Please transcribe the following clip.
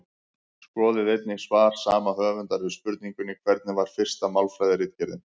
Skoðið einnig svar sama höfundar við spurningunni Hvernig var fyrsta málfræðiritgerðin?